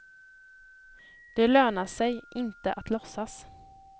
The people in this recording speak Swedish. Det lönar sig inte att låtsas.